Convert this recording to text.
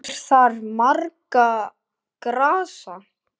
Kennir þar margra grasa.